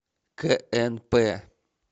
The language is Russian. кнп